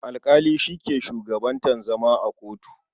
Alƙali shi ke shugabantar zama a kotu.